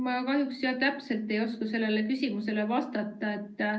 Ma kahjuks ei oska täpselt sellele küsimusele vastata.